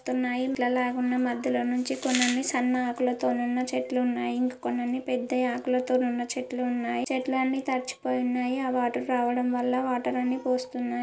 నీళ్లలా గ ఉన్నాయి . మధ్య లో నుంచి కొని అని సన్న ఆకులు తో ఉన్న చెట్లు ఉనాయి. కొని అని పెద్ద ఆకులు తో ఉన్న చెట్లు చెట్లు అని తడిచి పోయి ఉన్నాయి. అ వాటర్ రావడం వల్ల వాటర్ అన్ని పోస్తూ ఉన్నాయి.